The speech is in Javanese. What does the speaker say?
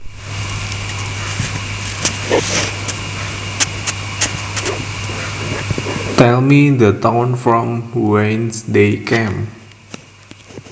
Tell me the town from whence they came